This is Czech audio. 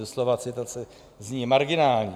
Doslova citace zní: marginální.